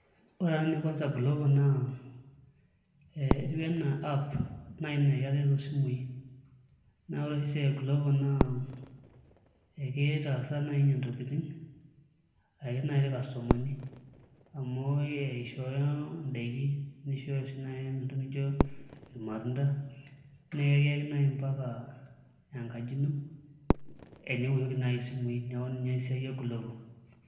Ore na enekanza glovo na etiu ana app na keret oshi na ore oshi esiai e glovo na ekitaasaa nai ninye ntokitin ake nai irkastomani amu eishoyo ndaki nishoyo naintokin irmatunda nekiyaki nai mpaka enkaji ino eniwoshoki nai simui neaku inaesiai e glovo